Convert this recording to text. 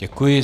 Děkuji.